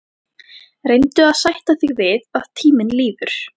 Reyndu að sætta þig við að tíminn líður.